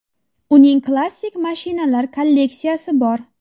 Uning klassik mashinalar kolleksiyasi bor.